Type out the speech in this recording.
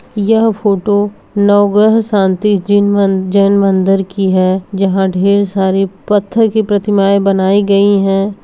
यह फोटो नवग्रह शांति जिन मन जैन मंदिर का है जहां ढेर सारे पत्थर की प्रतिमाएं बनाई गई हैं।